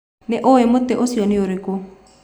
Nĩ ũĩ mũtĩ ũcio nĩ ũrĩkũ?